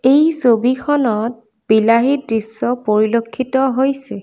এই ছবিখনত বিলাহী দৃশ্য পৰিলক্ষিত হৈছে।